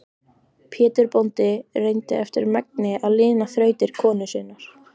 Pétur bóndi reyndi eftir megni að lina þrautir konu sinnar.